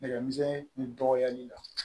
Nɛgɛ misɛnnin ni dɔgɔli la